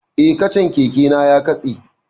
Eh, kacan keke na ya katse